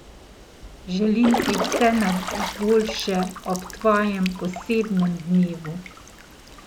Želim ti vse najboljše ob tvojem posebnem dnevu!